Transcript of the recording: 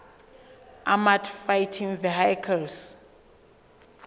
armoured fighting vehicles